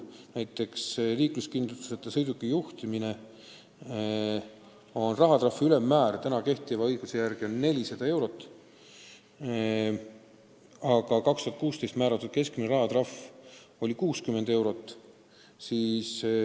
Näiteks liikluskindlustuseta sõiduki juhtimise eest on rahatrahvi ülemmäär kehtiva seaduse järgi 400 eurot, aga 2016. aastal määratud keskmine rahatrahv oli 60 eurot.